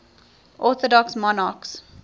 orthodox monarchs